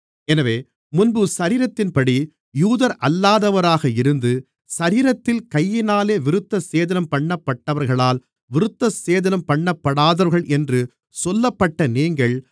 எனவே முன்பு சரீரத்தின்படி யூதரல்லாதவராக இருந்து சரீரத்தில் கையினாலே விருத்தசேதனம்பண்ணப்பட்டவர்களால் விருத்தசேதனம்பண்ணப்பாடாதவர்கள் என்று சொல்லப்பட்ட நீங்கள்